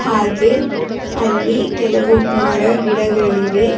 ಹಾಗೆ ಅಲ್ಲಿ ಕೆಲವು ಮರ ಗಿಡಗಳಿವೆ.